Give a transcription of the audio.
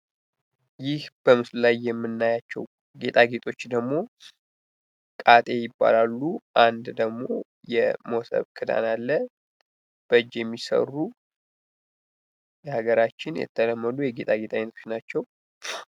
ይህ በምስሉ ላይ የምናያቸው ጌጣጌጦች ደግሞ ካጤ ይባላሉ። አንድ ደግሞ የሞሰብ ቅርጽ አለ። በእጂ የሚሰሩ ሀገራችን የተለመዱ የጌጣጌጥ አይነቶች ናቸው።